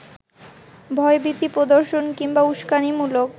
ভয়ভীতি প্রদর্শন কিংবা উস্কানিমূলক